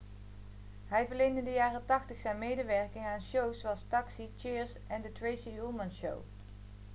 hij verleende in de jaren 80 zijn medewerking aan shows zoals taxi cheers en the tracy ullman show